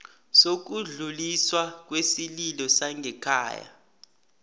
sokudluliswa kwesililo sangekhaya